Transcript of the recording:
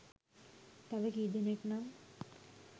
තව කීදෙනෙක් නම්